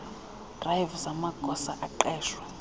drive zamagosa aqeshwe